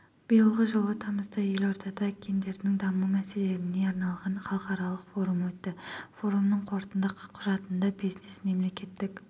биылғы жылы тамызда елордада гендерлік даму мәселелеріне арналған халықаралық форум өтті форумның қорытынды құжатында бизнес мемлекеттік